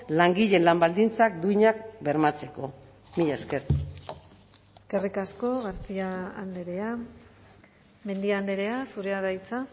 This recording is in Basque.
langileen lan baldintzak duinak bermatzeko mila esker eskerrik asko garcia andrea mendia andrea zurea da hitza